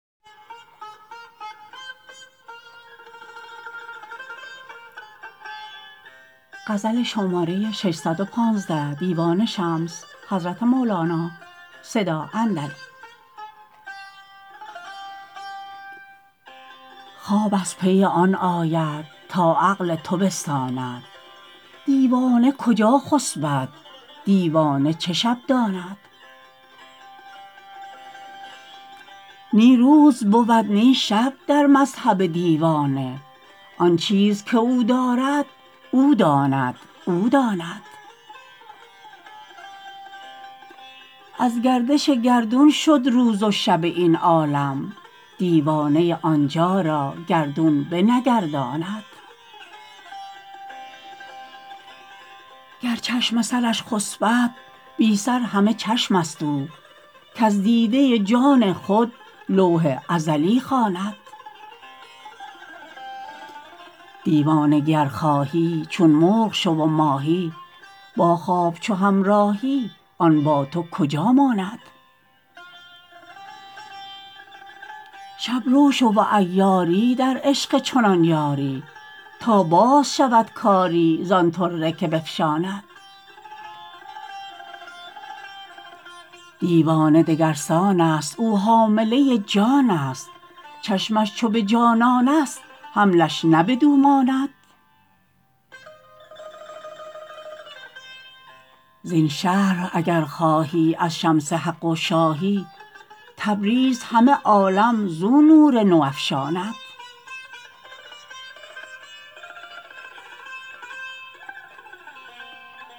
خواب از پی آن آید تا عقل تو بستاند دیوانه کجا خسبد دیوانه چه شب داند نی روز بود نی شب در مذهب دیوانه آن چیز که او دارد او داند و او داند از گردش گردون شد روز و شب این عالم دیوانه آن جا را گردون بنگر داند گر چشم سرش خسپد بی سر همه چشم است او کز دیده جان خود لوح ازلی خواند دیوانگی ار خواهی چون مرغ شو و ماهی با خواب چو همراهی آن با تو کجا ماند شب رو شو و عیاری در عشق چنان یاری تا باز شود کاری زان طره که بفشاند دیوانه دگر سان ست او حامله جان است چشمش چو به جانان است حملش نه بدو ماند زین شرح اگر خواهی از شمس حق و شاهی تبریز همه عالم زو نور نو افشاند